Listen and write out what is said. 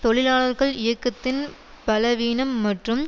தொழிலாளர் இயக்கத்தின் பலவீனம் மற்றும்